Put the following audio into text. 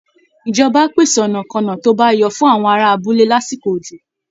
Ìjọba á pèsè ọ̀nàkọ́nà tó bá yọ fún àwọn ará abúlé lásìkò òjò